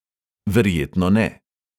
Verjetno ne.